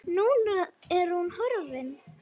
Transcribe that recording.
Núna er hún horfin.